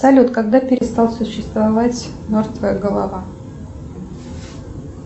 салют когда перестал существовать мертвая голова